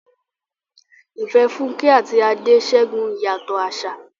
Ìfẹ́ Funke àti Ade ṣẹ́gun ìyàtọ̀ àṣà.